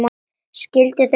Skilur þau núna.